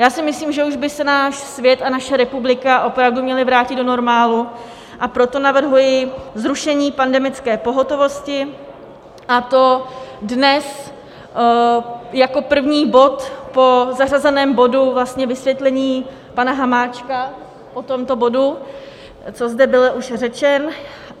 Já si myslím, že už by se náš svět a naše republika opravdu měly vrátit do normálu, a proto navrhuji zrušení pandemické pohotovosti, a to dnes jako první bod po zařazeném bodu, vlastně vysvětlení pana Hamáčka o tomto bodu, co zde byl už řečen.